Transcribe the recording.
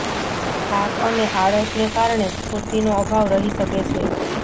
થાક અને આળસને કારણે સ્ફૂર્તિનો અભાવ રહી શકે છે